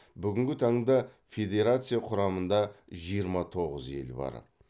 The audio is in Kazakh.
бүгінгі таңда федерация құрамында жиырма тоғыз ел бар